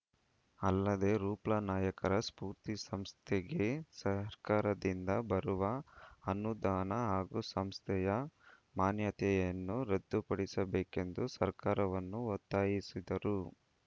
ಅಲ್ಲದೇ ರೂಪ್ಲನಾಯ್ಕರ ಸ್ಪೂರ್ತಿ ಸಂಸ್ಥೆಗೆ ಸರ್ಕಾರದಿಂದ ಬರುವ ಅನುದಾನ ಹಾಗೂ ಸಂಸ್ಥೆಯ ಮಾನ್ಯತೆಯನ್ನೂ ರದ್ದುಪಡಿಸಬೇಕೆಂದು ಸರ್ಕಾರವನ್ನು ಒತ್ತಾಯಿಸಿದರು